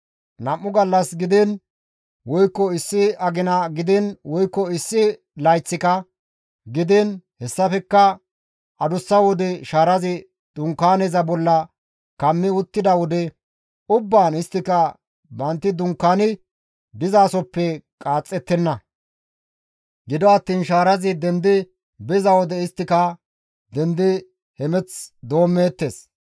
Nam7u gallas gidiin woykko issi agina gidiin woykko issi layththika gidiin hessafekka adussa wode shaarazi Dunkaaneza bolla kammi uttida wode ubbaan isttika bantti dunkaani dizasoppe qaaxxettenna; gido attiin shaarazi dendi biza wode isttika dendi hemeth doommeettes.